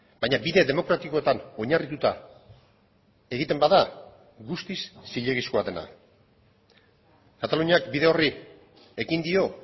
baina bide demokratikoetan oinarrituta egiten bada guztiz zilegizkoa dena kataluniak bide horri ekin dio